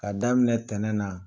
K'a daminɛ ntɛnɛn na.